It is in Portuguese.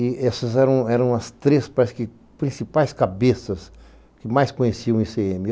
E essas eram as três principais cabeças que mais conheciam o i cê eme.